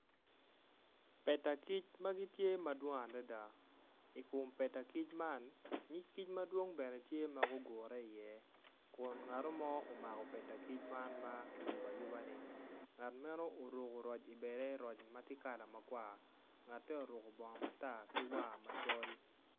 Peda kic ma gitye madwong adada i kom peda kic man nyig kic tye madwong ma gugure iye kun ngat mo omako peda kic man ma kiyubo ayuba-ni ngat meno oruko roc i bade kun roc meno tye kala makwar ngatte oruko bongo matar ki war macol.